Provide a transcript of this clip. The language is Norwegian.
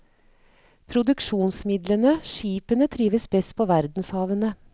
Produksjonsmidlene, skipene, trives best på verdenshavene.